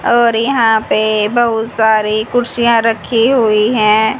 और यहां पे बहुत सारी कुर्सियां रखी हुई हैं।